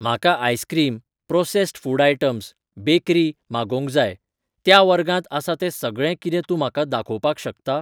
म्हाका ice cream, processed food items, bakery, मागोवंक जाय, त्या वर्गांत आसा ते सगळें कितें तूं म्हाका दाखोवपाक शकता?